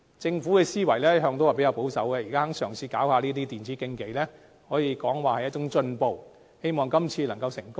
政府的思維一向較保守，現在肯嘗試舉辦電子競技，可說是一種進步，希望今次能成功。